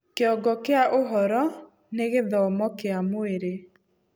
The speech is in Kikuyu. Kĩongo kĩa ũhoro: Nĩ gĩthomo kĩa mwirĩ.